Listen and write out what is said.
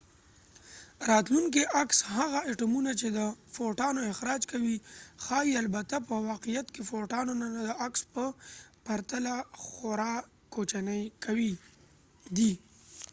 راتلونکی عکس هغه اټومونه چې د فوټانو اخراج کوي ښايي البته په واقعیت کې فوټانونه د عکس په پرتله خورا کوچني دي